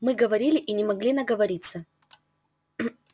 мы говорили и не могли наговориться